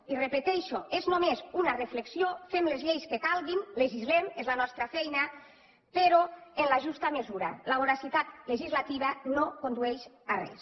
i repeteixo és només una reflexió fem les lleis que calguin legislem és la nostra feina però en la justa mesura la voracitat legislativa no condueix a res